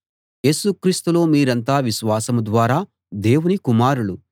యేసు క్రీస్తులో మీరంతా విశ్వాసం ద్వారా దేవుని కుమారులు